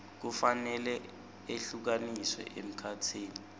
kufanele ehlukaniswe emkhatsini